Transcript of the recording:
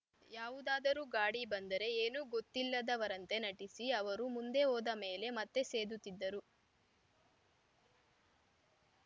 ಯಾವುದಾದರೂ ಗಾಡಿ ಬಂದರೆ ಏನೋ ಗೊತ್ತಿಲ್ಲದವರಂತೆ ನಟಿಸಿ ಅವರು ಮುಂದೆ ಹೋದ ಮೇಲೆ ಮತ್ತೆ ಸೇದುತ್ತಿದ್ದರು